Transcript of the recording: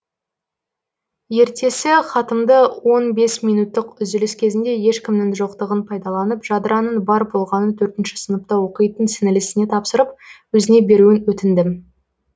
ертесі хатымды он бес минуттық үзіліс кезінде ешкімнің жоқтығын пайдаланып жадыраның бар болғаны төртінші сыныпта оқитын сіңілісіне тапсырып өзіне беруін өтіндім